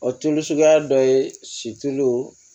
O tulu suguya dɔ ye situlu